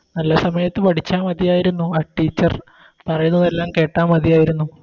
നല്ല സമയത്ത് പഠിച്ച മതിയാരുന്നു ആ Teacher പറയുന്നതെല്ലാം കേട്ടാൽ മതിയായിരുന്നു